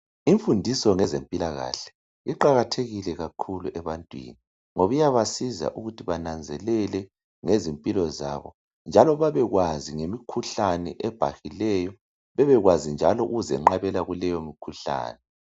Imfundiso ngezempilakahle iqakathekile kakhulu ebantwini ngoba iyabasiza ukuthi bananzelele ngezimpilo zabo njalo babekwazi ngemikhuhlane ebhahileyo, bebekwazi njalo ukuzenqabela kuleyo mikhuhlane.